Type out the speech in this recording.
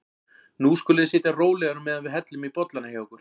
Nú skuluð þið sitja rólegir á meðan við hellum í bollana hjá ykkur.